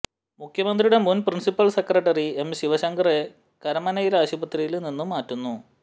മുഖ്യമന്ത്രിയുടെ മുന് principal secretary M ശിവശങ്കറെ കരമനയിലെ ആശുപത്രിയില് നിന്ന് മാറ്റുന്നു